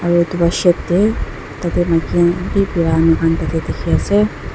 Aro etu la shade tey tate maki khan bi bara amikhan tate dekhi ase.